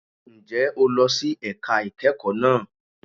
Ǹjẹ́ o lọ sí ẹ̀ka ìkẹ́kọ̀ọ́ náà?